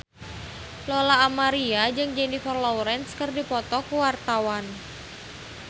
Lola Amaria jeung Jennifer Lawrence keur dipoto ku wartawan